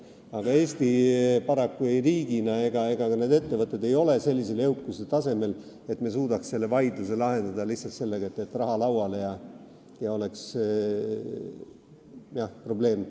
Paraku ei ole Eesti riigina ega ka ettevõtted sellise jõukuse tasemel, et me suudaksime sellised vaidlused lahendada lihtsalt sellega, et raha lauale ja probleemi pole.